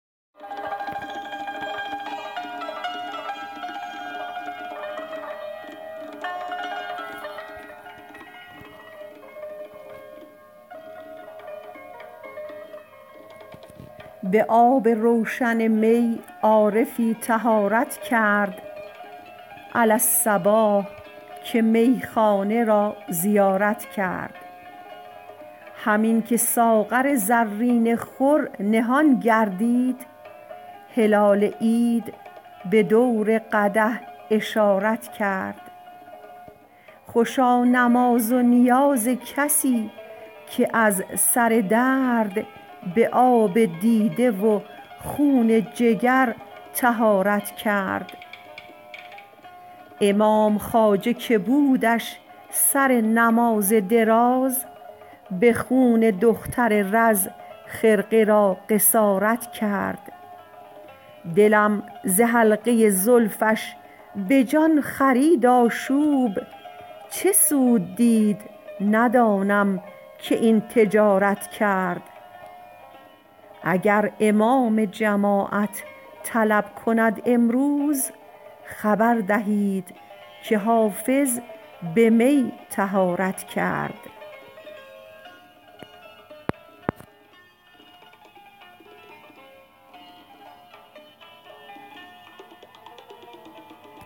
به آب روشن می عارفی طهارت کرد علی الصباح که میخانه را زیارت کرد همین که ساغر زرین خور نهان گردید هلال عید به دور قدح اشارت کرد خوشا نماز و نیاز کسی که از سر درد به آب دیده و خون جگر طهارت کرد امام خواجه که بودش سر نماز دراز به خون دختر رز خرقه را قصارت کرد دلم ز حلقه زلفش به جان خرید آشوب چه سود دید ندانم که این تجارت کرد اگر امام جماعت طلب کند امروز خبر دهید که حافظ به می طهارت کرد